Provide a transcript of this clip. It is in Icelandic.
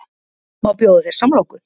Má bjóða þér samloku?